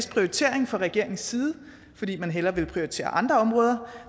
prioritering fra regeringens side fordi man hellere vil prioritere andre områder